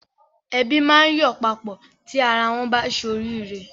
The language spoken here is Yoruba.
Ẹbí máa ń yọ̀ papọ̀ tí ara wọ́n bá ṣe oríire.